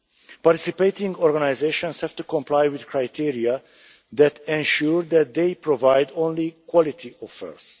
Participating organisations have to comply with criteria that ensure that they provide only quality offers.